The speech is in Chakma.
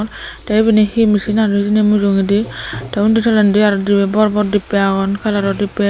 tey ebene he mesin anon mojogadi tey indi tolandi aro bor bor debbay agon kalaro debbay.